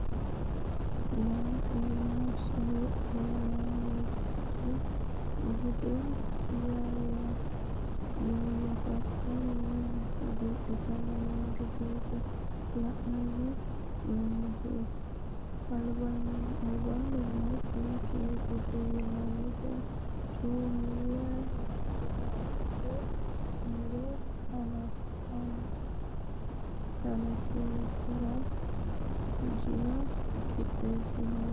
Maate maasso heedhenna mimitu ledo yoyefattanni hagiidhittanni no gedeti la"ani noommohu albansanni nooti kekekete yinannite coomilu noosete ise mure hanafisiisarati jila qixxeesinoniha.